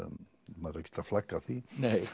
maður er ekkert að flagga því